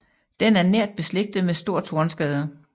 Den er nært beslægtet med stor tornskade